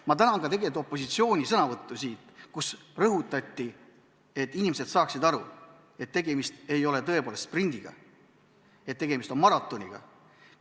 Ma tänan ka opositsiooni sõnavõtu eest, milles rõhutati, et inimestel tuleb aru saada, et tegemist ei ole sprindi, vaid maratoniga.